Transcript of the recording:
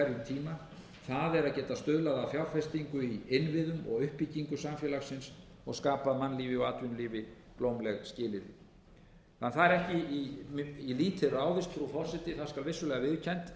að fjárfestingu í innviðum og uppbyggingu samfélagsins og skapað mannlífi og atvinnulífi blómleg skilyrði þannig að það er ekki í lítið ráðist frú forseti það skal vissulega viðurkennt